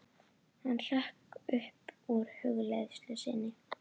Hann hrökk upp úr hugleiðslu sinni.